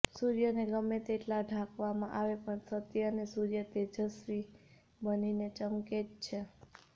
સૂર્યને ગમે તેટલો ઢાંકવામાં આવે પણ સત્ય અને સૂર્ય તેવસ્વી બનીને ચમકે જ છે